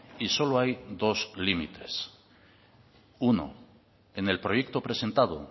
y solo hay dos límites uno en el proyecto presentado